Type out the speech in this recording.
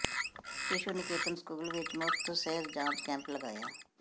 ਸ਼ਿਸ਼ੂ Niketan school ਵਿੱਚ ਮੁਫ਼ਤ ਸਿਹਤ ਜਾਂਚ ਕੈਂਪ ਲਗਾਇਆ